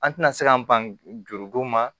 An tɛna se k'an ban juru don ma